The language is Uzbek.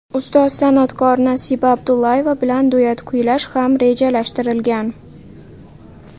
Ustoz san’atkor Nasiba Abdullayeva bilan duet kuylash ham rejalashtirilgan.